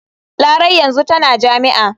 Larai yanzu tana jami'a.